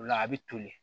O la a bɛ toli